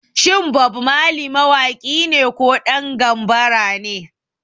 Shin Bob Marley mawaki ne ko ɗan gambara ne?